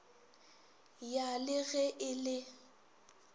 ya le ge e le